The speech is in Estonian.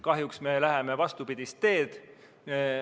Kahjuks me läheme vastupidist teed.